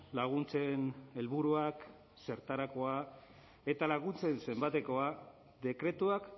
laguntzen helburuak zertarakoa eta laguntzen zenbatekoa dekretuak